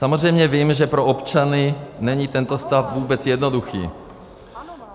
Samozřejmě vím, že pro občany není tento stav vůbec jednoduchý.